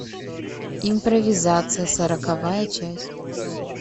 импровизация сороковая часть